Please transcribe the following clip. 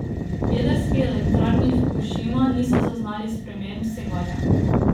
V jedrski elektrarni Fukušima niso zaznali sprememb sevanja.